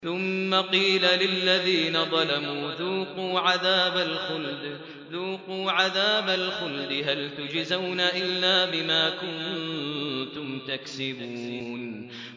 ثُمَّ قِيلَ لِلَّذِينَ ظَلَمُوا ذُوقُوا عَذَابَ الْخُلْدِ هَلْ تُجْزَوْنَ إِلَّا بِمَا كُنتُمْ تَكْسِبُونَ